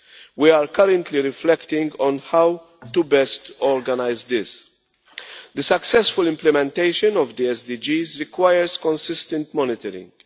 We are currently reflecting on how to best organise this. The successful implementation of the SDGs requires consistent monitoring.